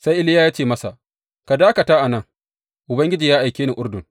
Sai Iliya ya ce masa, Ka dakata a nan, Ubangiji ya aike ni Urdun.